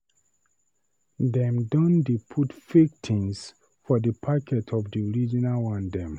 Dem don dey put fake tins for di packet of di original one dem.